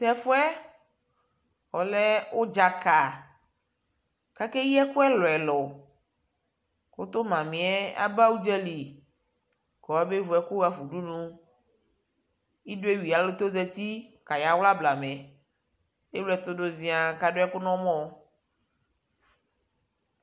tɛ ɛƒʋɛ ɔlɛ ʋdzaka kʋ akɛyi ɛkʋ ɛlʋɛlʋ kʋtʋ mamiɛ aba ʋdzali kʋ ɔya bɛ vʋ ɛkʋ haƒa ʋdʋnʋ ,idɔ ɛwi ɛtɛ ɔzati nʋ ʋti kaya wla blamɛ, ɛwlɛtʋ dʋ zia kʋ adʋ ɛkʋ nʋ ɔmɔ